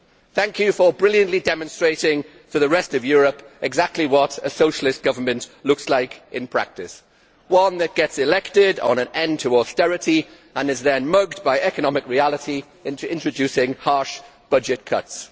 Thank you for brilliantly demonstrating to the rest of Europe exactly what a socialist government looks like in practice one that gets elected on to put an end to austerity and is then mugged by economic reality into introducing harsh budget cuts.